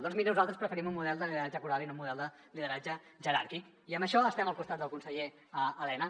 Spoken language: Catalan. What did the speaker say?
doncs miri nosaltres preferim un model de lideratge coral i no un model de lideratge jeràrquic i en això estem al costat del conseller elena